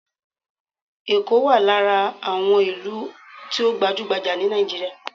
Ekó wà lára àwọn ìlú tó gbajúgbajà ní Nàìjíríà.